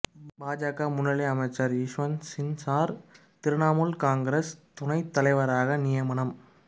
பாஜக முன்னாள் அமைச்சர் யஷ்வந்த் சின்ஹா திரிணாமுல் காங்கிரஸ் துணைத் தலைவராக நியமனம்